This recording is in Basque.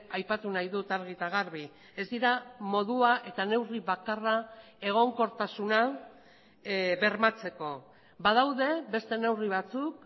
aipatu nahi dut argi eta garbi ez dira modua eta neurri bakarra egonkortasuna bermatzeko badaude beste neurri batzuk